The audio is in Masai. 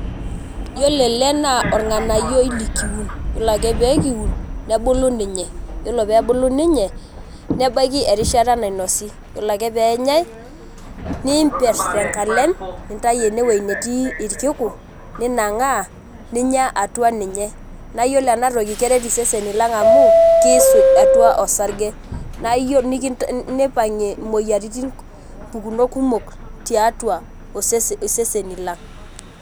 Yiolo ele naa orng'anayioi likiun. Yiolo ake pekiun, nebulu ninye. Yiolo pebulu ninye, nebaiki erishata nainosi. Yiolo ake peenyai, niimper tenkalem, nintayu enewei netii irkiku, ninang'aa, ninya atua ninye. Na iyiolo enatoki keret iseseni lang amu, kiisuj atua osarge. Nipang'ie imoyiaritin pukunot kumok tiatua iseseni lang.